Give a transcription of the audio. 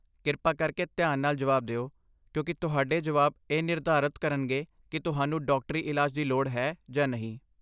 ਕਿਰਪਾ ਕਰਕੇ ਧਿਆਨ ਨਾਲ ਜਵਾਬ ਦਿਓ, ਕਿਉਂਕਿ ਤੁਹਾਡੇ ਜਵਾਬ ਇਹ ਨਿਰਧਾਰਤ ਕਰਨਗੇ ਕਿ ਤੁਹਾਨੂੰ ਡਾਕਟਰੀ ਇਲਾਜ ਦੀ ਲੋੜ ਹੈ ਜਾਂ ਨਹੀਂ।